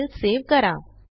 file save करा